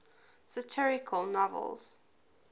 satirical novels